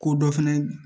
Ko dɔ fɛnɛ